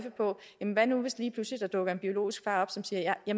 hvad nu hvis der lige pludselig dukker en biologisk far op som siger at